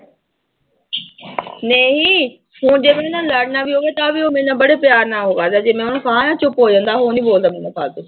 ਨਹੀਂ ਹੁਣ ਜੇ ਉਹਦੇ ਨਾਲ ਲੜਨਾ ਵੀ ਹੋਵੇ ਤਾਂ ਵੀ ਉਹ ਮੇਰੇ ਨਾਲ ਬੜੇ ਪਿਆਰ ਨਾਲ ਉਹ ਕਰਦਾ ਜੇ ਮੈਂ ਉਹਨੂੰ ਕਹਾਂ ਨਾ ਚੁੱਪ ਹੋ ਜਾਂਦਾ ਉਹ ਨੀ ਬੋਲਦਾ ਮੇਰੇ ਨਾਲ ਫਾਲਤੂ